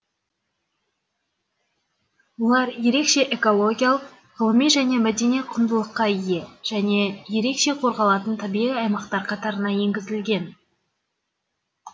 олар ерекше экологиялық ғылыми және мәдени құндылыққа ие және ерекше қорғалатын табиғи аймақтар қатарына енгізілген